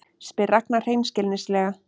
spyr Ragna hreinskilnislega.